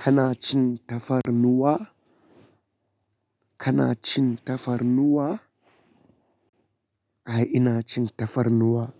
Kana cin tafarnuwa? Kana cin tafarnuwa? Ae ina cin tafarnuwa